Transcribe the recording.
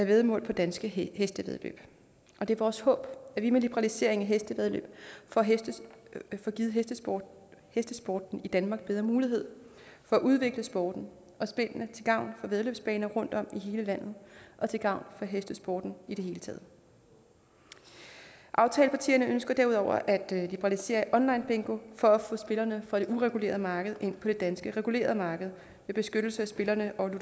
væddemål på danske hestevæddeløb og det er vores håb at vi med liberaliseringen af hestevæddeløb får givet hestesporten hestesporten i danmark bedre muligheder for at udvikle sporten og spillene til gavn for væddeløbsbaner rundtom i hele landet og til gavn for hestesporten i det hele taget aftalepartierne ønsker derudover at liberalisere onlinebingo for at få spillerne fra det uregulerede marked ind på det danske regulerede marked med beskyttelse af spillerne og